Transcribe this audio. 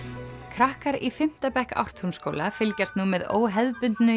krakkar í fimmta bekk Ártúnsskóla fylgjast nú með óhefðbundnu